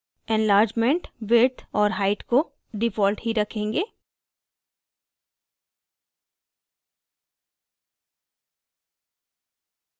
enlargement width और height को default ही रखेंगे